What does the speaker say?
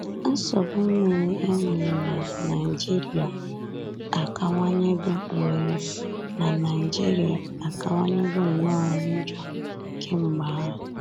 Nsogbu mmiri e nwere n'Naịjirịa akawanyego nwere n'Naịjirịa akawanyego nnọọ njọ kemgbe ahụ.